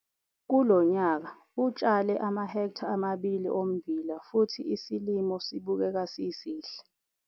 Kulo nyaka utshale amahektha amabili ommbila futhi isilimo sibukeka sisihle.